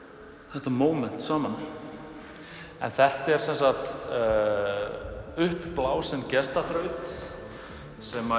þetta móment saman þetta er semsagt uppblásinn gestaþraut sem